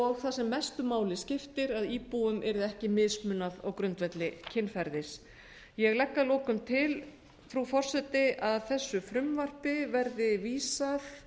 og það sem mestu máli skiptir að íbúum yrði ekki mismunað á grundvelli kynferðis ég legg að lokum til frú forseti að þessu frumvarpi verði vísað